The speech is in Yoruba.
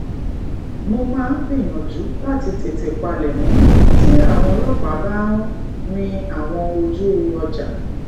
mo máa ń gbìyànjú láti tètè palèmó tí àwọn ọlópàá ba ń rin àwọn oju ọjà